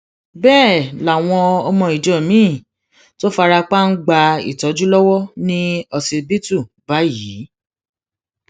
bẹẹ làwọn ọmọ ìjọ miín tó fara pa ń gba ìtọjú lọwọ ní ọsibítù báyìí